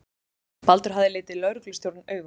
Baldur hafði litið lögreglustjórann augum.